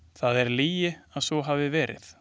Það er lygi að svo hafi verið.